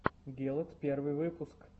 гелот первый выпуск